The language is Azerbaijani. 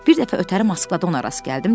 Bir dəfə ötəri Moskvada ona rast gəldim.